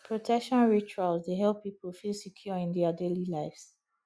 protection rituals dey help pipo feel secure in dia daily lives